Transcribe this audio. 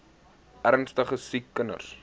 ernstige siek kinders